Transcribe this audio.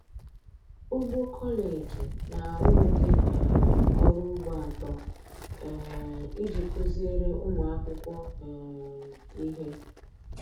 Ugbo kọleji na-arụ ụdị um ọrụ ugbo atọ um iji kụziere ụmụ akwụkwọ um ihe